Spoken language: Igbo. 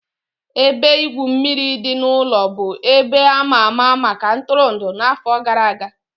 Ebe igwu mmiri dị n'ụlọ bụ ebe a ma ama maka ntụrụndụ n'afọ gara aga.